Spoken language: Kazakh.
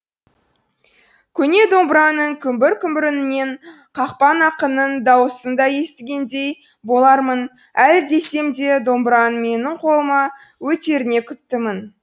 көне домбыраның күмбір күмбір үнінен қақпан ақынның дауысын да естігендей болармын әлі десем де домбыраның менің қолыма өтеріне күптімін